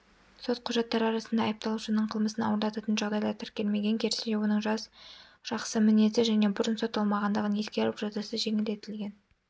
сот құжаттары арасында айыпталушының қылмысын ауырлататын жағдайлар тіркелмеген керісінше оның жас жақсы мінезді және бұрын сотталмағандығын ескеріп жазасы жеңілдетілген